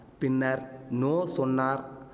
பின்னர் நோ சொன்னார்